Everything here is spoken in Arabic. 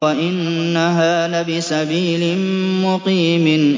وَإِنَّهَا لَبِسَبِيلٍ مُّقِيمٍ